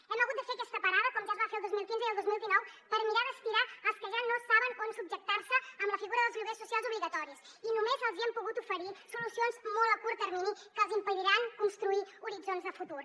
hem hagut de fer aquesta parada com ja es va fer el dos mil quinze i el dos mil dinou per mirar d’estirar els que ja no saben on subjectar se amb la figura dels lloguers socials obligatoris i només els hi hem pogut oferir solucions molt a curt termini que els impediran construir horitzons de futur